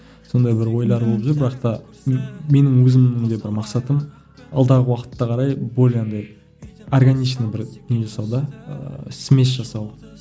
сондай бір ойлар болып жүр бірақ та мен менің өзімнің де бір мақсатым алдағы уақытта қарай более андай органичный бір не жасау да ыыы смесь жасау